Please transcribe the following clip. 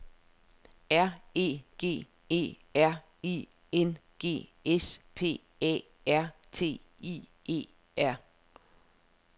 R E G E R I N G S P A R T I E R